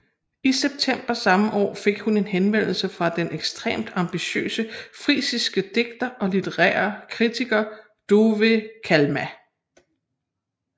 I september samme år fik hun en henvendelse fra den ekstremt ambitiøse frisiske digter og litterære kritiker Douwe Kalma